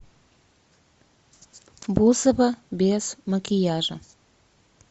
бузова без макияжа